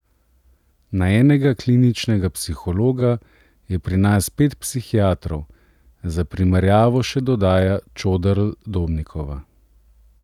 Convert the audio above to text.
Na enega kliničnega psihologa je pri nas pet psihiatrov, za primerjavo še dodaja Čoderl Dobnikova.